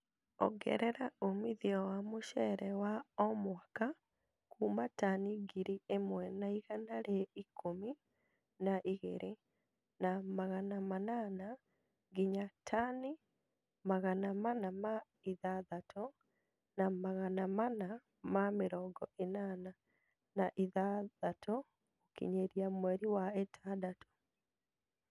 Ongerera umithio wa mucere wa o mwaka kuuma tani ngiri ĩmwe na igana rĩa ikũmi na igĩri, na Magana manana nginya tani Magana mana ma ithathatũ na Magana mana ma mĩrongo ĩnana na ithathatũ gũkinyĩria mweri wa ĩtandatũ